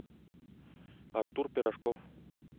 артур пирожков